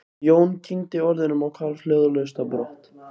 Jón kyngdi orðunum og hvarf hljóðalaust á brott.